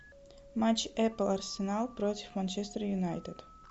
матч эпл арсенал против манчестер юнайтед